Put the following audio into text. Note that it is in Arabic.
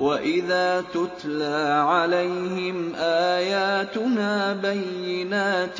وَإِذَا تُتْلَىٰ عَلَيْهِمْ آيَاتُنَا بَيِّنَاتٍ